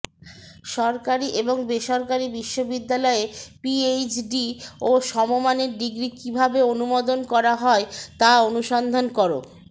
সরকারি এবং বেসরকারি বিশ্ববিদ্যালয়ে পিএইচডি ও সমমানের ডিগ্রি কীভাবে অনুমোদন করা হয় তা অনুসন্ধান কর